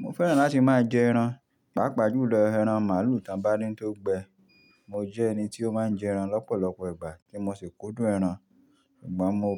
Mo fẹ́ràn láti máa jẹ ẹran, pàápàá jùlọ ẹran màlúù tàn bá dín tó gbẹ. Mo jẹ́ ẹni tí ó máa ń jẹ ẹran lọ́pọ̀lọpọ̀ ìgbà tí n máa sì kúndùn ẹran. Ṣùgbọ́n mo